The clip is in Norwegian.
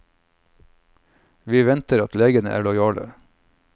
Vi venter at legene er lojale.